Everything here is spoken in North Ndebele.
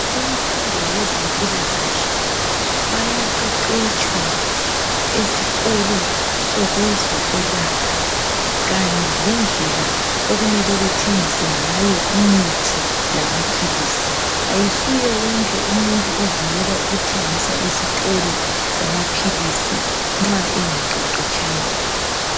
Kumfundo yezempilakahle, bayaqeqetshwa esikolo sokwezokwelapha, kanye lendlela okumele bathengise ngayo imithi lamaphilisi. Kayisuye wonke umuntu ovunyelwa kuthengiswa ezitolo zamaphilisi nxa engaqeqetshanga.